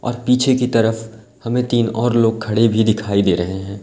पीछे की तरफ हमें तीन और लोग खड़े भी दिखाई दे रहे हैं।